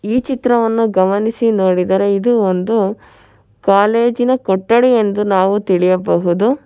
ಈ ಚಿತ್ರವನ್ನು ಗಮನಿಸಿ ನೋಡಿದರೆ ಇದು ಒಂದು ಕಾಲೇಜಿನ ಕೊಠಡಿ ಎಂದು ನಾವು ತಿಳಿಯಬಹುದು.